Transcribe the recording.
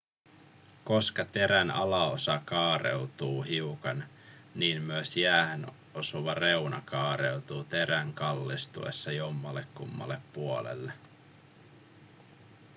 koska terän alaosa kaareutuu hiukan niin myös jäähän osuva reuna kaareutuu terän kallistuessa jommallekummalle puolelle